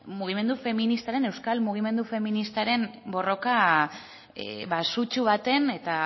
mugimendu feministaren euskal mugimendu feministaren borroka sutsu baten eta